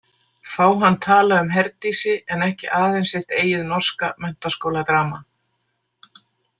Fá hann tala um Herdísi en ekki aðeins sitt eigið norska menntaskóladrama.